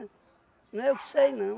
Não é eu que sei, não.